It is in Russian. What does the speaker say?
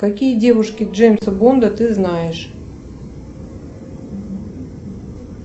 какие девушки джеймса бонда ты знаешь